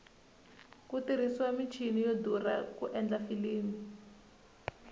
ku tirhisiwa michini yo durha ku endla filimi